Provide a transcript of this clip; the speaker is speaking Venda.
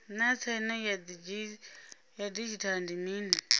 naa tsaino ya didzhithala ndi mini